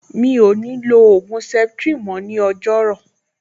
Mi ò ní lo ògùn septrin mọ́ ní ọjọ́rú